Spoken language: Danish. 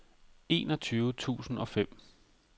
enogtyve tusind og fem